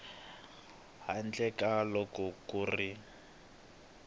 handle ka loko ku ri